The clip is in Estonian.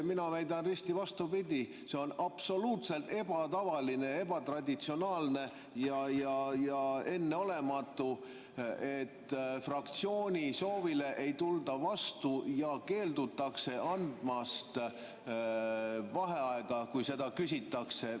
Mina väidan risti vastupidi: see on absoluutselt ebatavaline, ebatraditsionaalne ja enneolematu, et fraktsiooni soovile ei tulda vastu ja keeldutakse andmast vaheaega, kui seda küsitakse.